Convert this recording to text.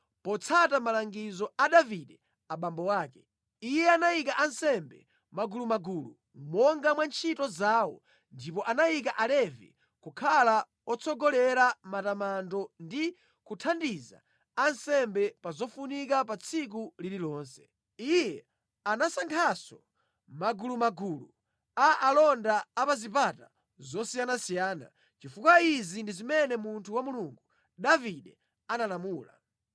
Potsata malangizo a Davide abambo ake, iye anayika ansembe mʼmagulumagulu monga mwa ntchito zawo ndipo anayika Alevi kukhala otsogolera matamando ndi kuthandiza ansembe pa zofunika pa tsiku lililonse. Iye anasankhanso magulumagulu a alonda a pa zipata zosiyanasiyana, chifukwa izi ndi zimene munthu wa Mulungu, Davide analamula.